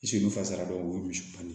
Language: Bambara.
Si fasara dɔrɔn o ye musomanin ye